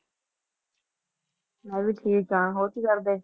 ਮੈਂ ਵੀ ਠੀਕ ਹਾਂ ਹੋਰ ਕੀ ਕਰਦੇ।